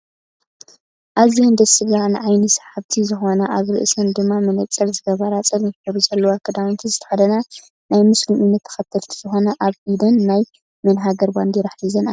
ኣዝየን ደስ ዝብላካን ንዓይኒ ስሓብቲ ዝኮና ኣብ ርእስን ድማ መነፀር ዝገበራ ፀሊም ሕብሪ ዘለዎ ክዳንዝተከደና ናይ ምሲሎም እምነት ተከተልቲ ዝኮና ኣብ ኢደን ናይ መን ሃገር ባንዴራ ሒዘን ኣለዋ?